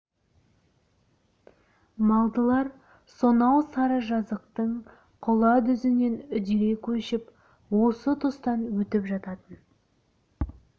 малдылар сонау сары жазықтың құла дүзінен үдере көшіп осы тұстан өтіп жататын